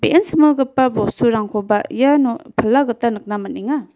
ian similgipa bosturangkoba iano pala gita nikna man·enga.